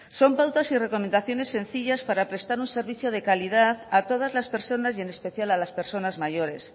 son pautas y recomendaciones sencillas para prestar un servicio de calidad a todas las personas y en especial a las personas mayores